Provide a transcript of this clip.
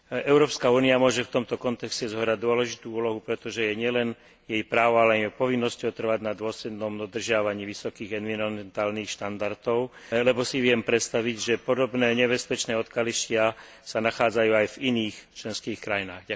Európska únia môže v tomto kontexte zohrať dôležitú úlohu, pretože je nielen jej právom, ale aj povinnosťou trvať na dôslednom dodržiavaní vysokých environmentálnych štandardov, lebo si viem predstaviť, že podobné nebezpečné odkaliská sa nachádzajú aj v iných členských krajinách.